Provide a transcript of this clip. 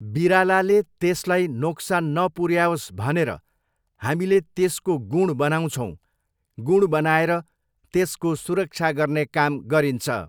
बिरालाले त्यसलाई नोक्सान नपुरऱ्याओस् भनेर हामीले त्यसको गुँड बनाउँछौँ, गुँड बनाएर त्यसको सुरक्षा गर्ने काम गरिन्छ।